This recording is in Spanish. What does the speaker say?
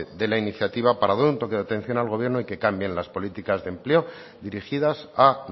de la iniciativa para dar un toque de atención al gobierno y que cambien las políticas de empleo dirigidas a